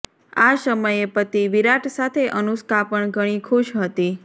આ સમયે પતિ વિરાટ સાથે અનુષ્કા પણ ઘણી ખુશ હતી